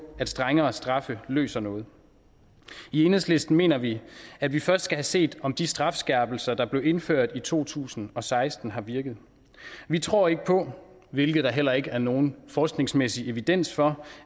at strengere straffe løser noget i enhedslisten mener vi at vi først skal have set om de strafskærpelser der blev indført i to tusind og seksten har virket vi tror ikke på hvilket der heller ikke er nogen forskningsmæssig evidens for